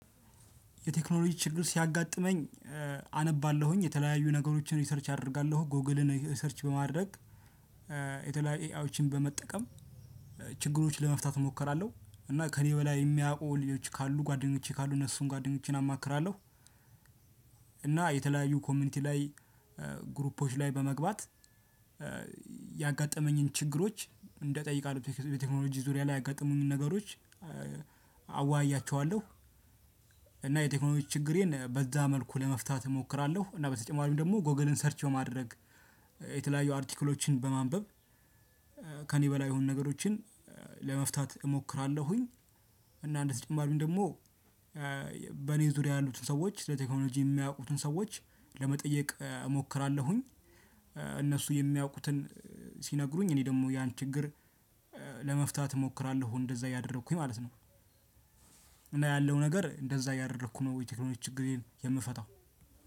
የቴክኖሎጂ ችግር ሲያጋጥመኝ አነባለሁኝ የተለያዩ ነገሮችን ሪሰርች አደርጋለሁ ጎግልን ሰርች በማድረግ የተለያየ ኤይዎችን በመጠቀም ችግሮችን ለመፍታት እሞክራለሁ እና ከእኔ በላይ የሚያውቁ ልጆች ካሉ ጓደኞቼ ካሉ እነሱን ጓደኞቼን አማክራለሁ። እና የተለያዩ ኮሚኒቲ ላይ ግሩፖች ላይ በመግባት ያጋጠመኝን ችግሮች እንደጠይቃለሁ በቴክኖሎጂ ዙሪያ ላይ ያገጠሙኝን ነገሮች አዋያቸዋለሁ። እና የቴክኖሎጂ ችግሬን በዛ መልኩ ለመፍታት እሞክራለሁ እና በተጨማሪም ደግሞ ጎግልን ሰርች በማድረግ የተለያዩ አሪትክሎችን በማንበብ ከኔ በላይ የሆኑ ነገሮችን ለመፍታት እሞክራለሁኝ። እና እንደተጨማሪም ደግሞ በእኔ ዙሪያ ያሉትን ሰዎች ስለቴክኖሎጂ የሚያውቁትን ሰዎች ለመጠየቅ እሞክራለሁኝ። እነሱ የሚያውቁትን ሲነግሩኝ እኔ ደግሞ ያን ችግር ለመፍታት እሞክራለሁ እንደዛ እያደረኩኝ ማለት ነው። እና ያለው ነገር እንደዛ እያደረኩ ነው የቴክኖሎጂ ችግሬን የምፈታው።